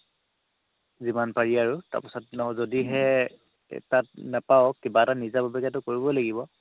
যিমান পাৰি আৰু তাৰপাছত যদিহে এৰ তাত নাপাওঁ কিবা এটা নিজাববীয়াকেতো কৰিব লাগিব